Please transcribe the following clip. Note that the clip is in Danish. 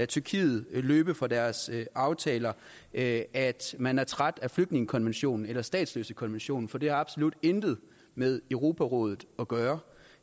tyrkiet løbe fra deres aftaler at at man er træt af flygtningekonventionen eller statsløsekonventionen for det har absolut intet med europarådet at gøre